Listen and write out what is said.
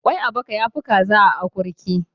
Ƙwai a baka ya fi kaza a akurki.